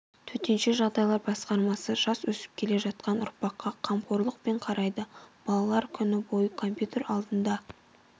төтенше жағдайлар басқармасы жас өсіп келе жатқан ұрпаққа қамқорлықпен қарайды балалар күні бойы компьютер алдында